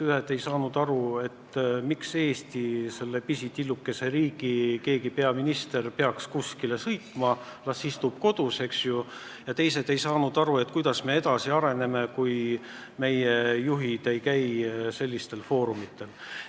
Ühed ei saanud aru, miks Eesti, meie pisitillukese riigi peaminister peaks kuskile sõitma, las istub kodus, ja teised küsisid, kuidas me siis edasi areneme, kui meie juhid ei käi sellistel foorumitel.